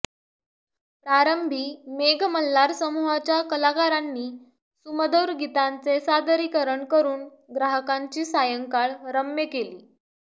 प्रारंभी मेघ मल्हार समूहाच्या कलाकारांनी सुमधुर गीतांचे सादरीकरण करून ग्राहकांची सायंकाळ रम्य केली